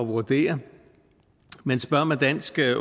vurdere det men dansk